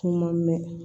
Kuma mɛn